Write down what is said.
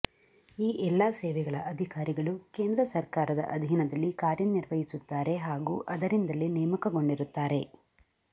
ಈ ಎಲ್ಲಾ ಸೇವೆಗಳ ಅಧಿಕಾರಿಗಳು ಕೇಂದ್ರ ಸರ್ಕಾರದ ಅಧೀನದಲ್ಲಿ ಕಾರ್ಯನಿರ್ವಹಿಸುತ್ತಾರೆ ಹಾಗೂ ಅದರಿಂದಲೇ ನೇಮಕಗೊಂಡಿರುತ್ತಾರೆ